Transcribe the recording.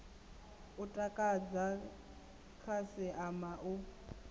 u takadza khasi ama u